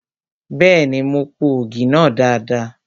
Bẹ́ẹ̀ni, mo po ògì náà dada.